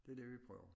Det det vi prøver